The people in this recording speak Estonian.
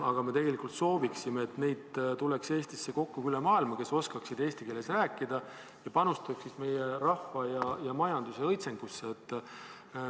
Aga me tegelikult soovime, et neid, kes oskavad eesti keeles rääkida, tuleks Eestisse kokku üle maailmaa ja nad panustaksid meie rahva ja majanduse õitsengusse.